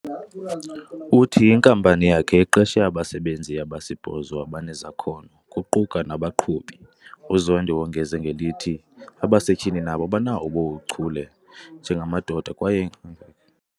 Uthi inkampani yakhe iqeshe abasebenzi abasibhozo abanezakhono, kuquka nabaqhubi. UZondi wongeza ngelithi, abasetyhini nabo banabo ubuchule njengamadoda kwaye